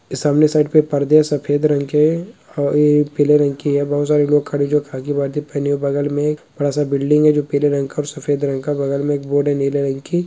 इ सामने साइड पे पर्दे है सफेद रंग के अ इ पीले रंग की है बहुत सारे लोग खड़े जो खाकी वर्दी पहने हुए बगल मे बड़ा सा बिल्डिंग है जो पीले रंग का और सफेद रंग का बगल मे एक बोर्ड है नीले रंग की।